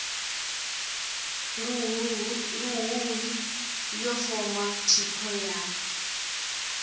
luhuhi yo foma thikho ya